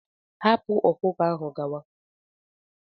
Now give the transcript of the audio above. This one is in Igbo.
Hapụ ọkụkọ ahụ ya gawa!